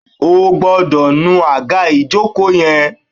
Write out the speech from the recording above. O gbọ́dọ̀ nu àga ìjókòó yen